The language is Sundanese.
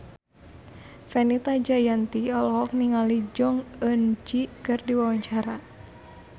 Fenita Jayanti olohok ningali Jong Eun Ji keur diwawancara